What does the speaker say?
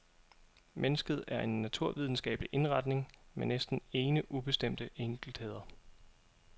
Mennesket er en naturvidenskabelig indretning med næsten ene ubestemte enkeltheder.